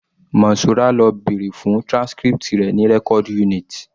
Monsura lọ bèrè fún transcript rẹ̀ ní record unit